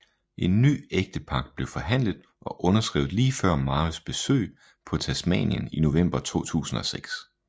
En ny ægtepagt blev forhandlet og underskrevet lige før Marys besøg på Tasmanien i november 2006